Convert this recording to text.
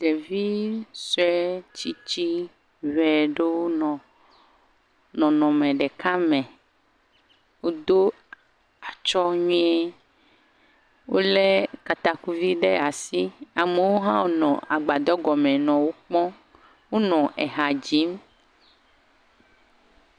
ɖevisoe tsitsi ʋɛɖowo nɔ nɔnɔme ɖeka me woɖó atsɔ̃ nyuie wóle katakuvi ɖe asi amewo hã nɔ gbadɔgɔme nɔ wó kpɔm, wó nɔ hadzim